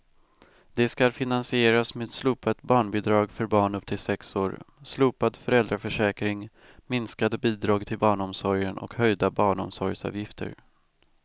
Det skall finansieras med slopat barnbidrag för barn upp till sex år, slopad föräldraförsäkring, minskade bidrag till barnomsorgen och höjda barnomsorgsavgifter.